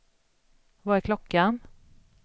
Vad är klockan